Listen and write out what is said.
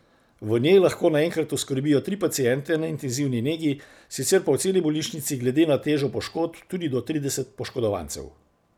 V njej lahko naenkrat oskrbijo tri paciente na intenzivni negi, sicer pa v celi bolnišnici glede na težo poškodb tudi do trideset poškodovancev.